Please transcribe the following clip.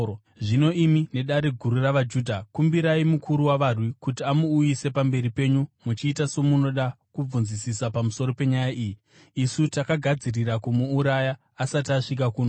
Zvino imi neDare Guru ravaJudha kumbirai mukuru wavarwi kuti amuuyise pamberi penyu muchiita somunoda kubvunzisisa pamusoro penyaya iyi. Isu takagadzirira kumuuraya asati asvika kuno.”